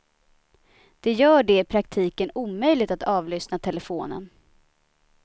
Det gör det i praktiken omöjligt att avlyssna telefonen.